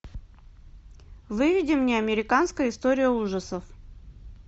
выведи мне американская история ужасов